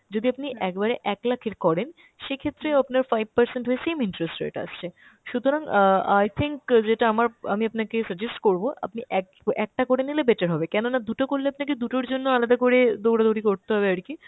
যদি আপনি একবারে এক lakh এর করেন সেক্ষেত্রেও আপনার five percent হয়ে same interest rate আসছে। সুতরাং অ্যাঁ i think যেটা আমার আমি আপনাকে suggest করব আপনি এক~ একটা করে নিলে better হবে। কেননা দু'টো করলে আপনাকে দু'টোর জন্য আলাদা করে দৌড়ো-দৌড়ি করতে হবে আরকি।